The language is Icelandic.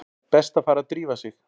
Best að fara að drífa sig.